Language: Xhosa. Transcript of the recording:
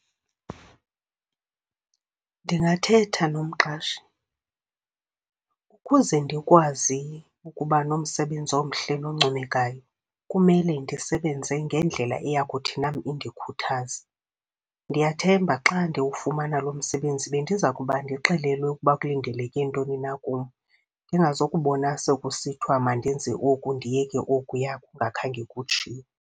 Ndingathetha nomqashi, ukuze ndikwazi ukuba nomsebenzi omhle noncomekayo, kumele ndisebenze ngendlela eyakuthi nam indikhuthaze. Ndiyathemba xa ndiwufumana lo msebenzi bendiza kuba ndixelelwe ukuba kulindeleke ntoni na kum, ndingazukubona sekusithiwa mandenze oku ndiyeke okuyaa, kungakhange kutsho.